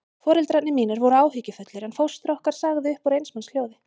Foreldrar mínir voru áhyggjufullir, en fóstra okkar sagði upp úr eins manns hljóði